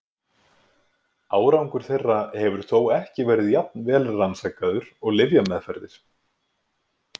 Árangur þeirra hefur þó ekki verið jafn vel rannsakaður og lyfjameðferðir.